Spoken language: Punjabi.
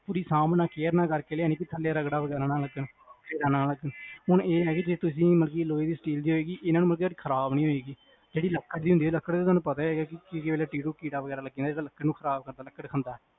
ਤੁਸੀ ਅਰਾਮ ਨਾਲ care ਨਾਲ ਕਰ ਕ ਲਿਆਣੀ ਥੱਲੇ ਰਗੜਾ ਵਗੈਰਾ ਨਾ ਲਗੇ ਹੁਣ ਇਹ ਹੈ ਜੇ ਤੁਸੀ ਮਤਲਬ ਲੋਹੇ ਦੀ steel ਦੀ ਇਹਨਾਂ ਨੂੰ ਮਤਲਬ ਖਰਾਬ ਨੀ ਹੁੰਦੀ ਲੱਕੜ ਦਾ ਤੁਹਾਨੂੰ ਪਤਾ ਹੈਗਾ ਕੀੜਾ ਵਗ਼ੈਰ ਹੈਗਾ ਜਿਹੜਾ ਲੱਕੜ ਨੂੰ ਖਰਾਬ ਕਰਦਾ